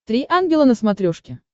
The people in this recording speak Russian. три ангела на смотрешке